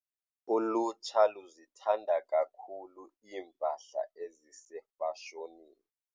Ulutsha luzithanda kakhulu iimpahla ezisefashonini.